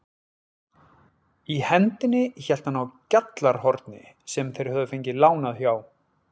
Í hendinni hélt hann á GJALLARHORNI sem þeir höfðu fengið lánað hjá